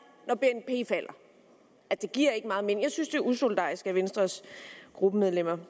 det giver ikke meget mening jeg synes det er usolidarisk af venstres gruppemedlemmer